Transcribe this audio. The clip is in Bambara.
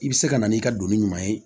I bɛ se ka na n'i ka doni ɲuman ye